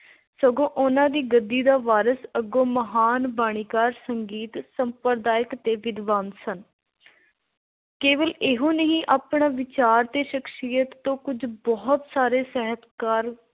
ਸਗੋਂ ਉਨ੍ਹਾਂ ਦੀ ਗੱਦੀ ਦੇ ਵਾਰਸ ਅੱਗੋਂ ਮਹਾਨ ਬਾਣੀਕਾਰ, ਸੰਗੀਤ, ਸੰਪ੍ਰਦਾਇਕ ਤੇ ਵਿਦਵਾਨ ਸਨ। ਕੇਵਲ ਇਹੋ ਨਹੀਂ ਆਪਣਾ ਵਿਚਾਰ ਤੇ ਸ਼ਖ਼ਸੀਅਤ ਤੋਂ ਕੁੱਝ ਬਹੁਤ ਸਾਰੇ ਸਾਹਿਤਕਾਰ